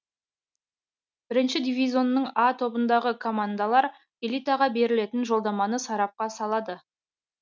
бірінші дивизионның а тобындағы командалар элитаға берілетін жолдаманы сарапқа салады